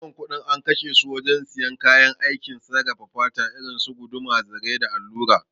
Ragowar kuɗin an kashe su wajen siyan kayan aikin sarrafa fata irinsu guduma, zare da allura